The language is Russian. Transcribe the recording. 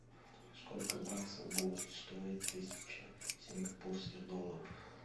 сколько баксов будет стоить тысяча сингапурских долларов